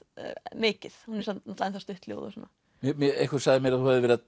mikið hún er samt ennþá stutt ljóð og svona einhver sagði mér að þú hefðir verið